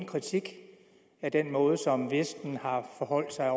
kritik af den måde som vesten har forholdt sig